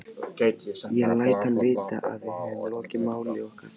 Ég læt hann vita, að við höfum lokið máli okkar.